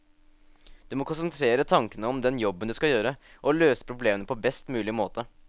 Du må konsentrere tankene om den jobben du skal gjøre, og løse problemene på best mulig måte.